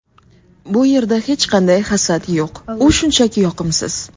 Bu yerda hech qanday hasad yo‘q, u shunchaki yoqimsiz.